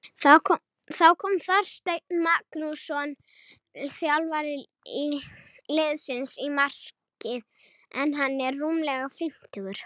Þá kom Þorsteinn Magnússon þjálfari liðsins í markið en hann er rúmlega fimmtugur.